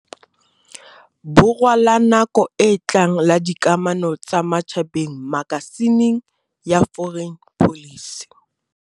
Borwa la nako e tlang la dikamano tsa matjhabeng makasi ning ya Foreign Policy.